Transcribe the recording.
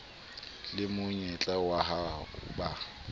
le monyetla wa ho ba